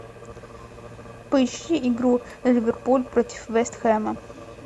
поищи игру ливерпуль против вест хэма